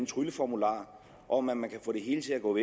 trylleformular om at man kan få det hele til at gå